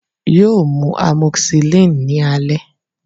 Yoo mu amoxicillin ni alẹ